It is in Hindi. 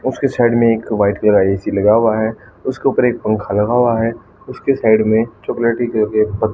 उसके साइड मे एक का ए_सी लगा है। उसके उपर एक पंखा लगा हुआ है। उसके साइड मे चॉकलेटी कलर के--